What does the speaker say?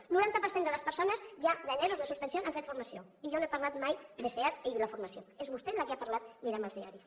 el noranta per cent de les persones en ero de suspensió han fet formació i jo no he parlat mai de seat i la formació és vostè que n’ha parlat mirem els diaris